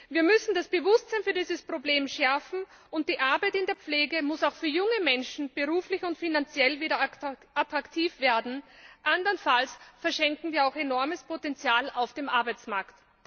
Wir müssen das Bewusstsein für dieses Problem schärfen, und die Arbeit in der Pflege muss auch für junge Menschen beruflich und finanziell wieder attraktiv werden, andernfalls verschenken wir auch enormes Potenzial auf dem Arbeitsmarkt.